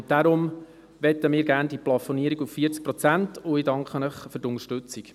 Deshalb möchten wir die Plafonierung auf 40 Prozent, und ich danke Ihnen für die Unterstützung.